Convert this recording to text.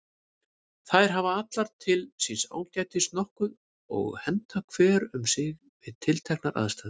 Þær hafa allar til síns ágætis nokkuð og henta hver um sig við tilteknar aðstæður.